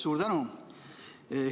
Suur tänu!